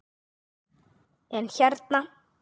En, en hérna.